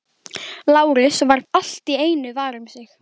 Lárus varð allt í einu var um sig.